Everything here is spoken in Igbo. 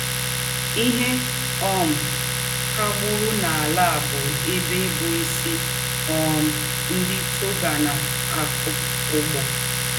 “ Íhe um kà ùgbùrù n’àlà à bụ́ ébè bụ́ ísì um ńdị́ Togona-ákọ́ úgbó. ”